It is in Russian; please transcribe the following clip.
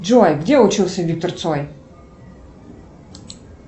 джой где учился виктор цой